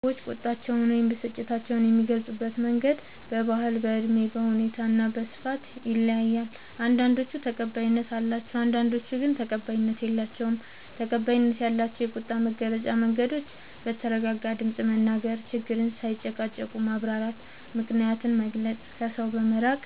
ሰዎች ቁጣቸውን ወይም ብስጭታቸውን የሚገልጹበት መንገድ በባህል፣ በእድሜ፣ በሁኔታ እና በስፍራ ይለያያል። አንዳንዶቹ ተቀባይነት አላቸው፣ አንዳንዶቹ ግን ተቀባይነት የላቸዉም። ፩. ተቀባይነት ያላቸው የቁጣ መግለጫ መንገዶች፦ በተረጋጋ ድምፅ መናገር፣ ችግርን ሳይጨቃጨቁ ማብራራት፣ ምክንያትን መግለጽ፣ ከሰው በመራቅ